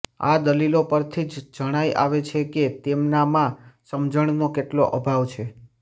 આ દલિલો પરથી જ જણાઈ આવે છે કે તેમનામાં સમજણનો કેટલો અભાવ છે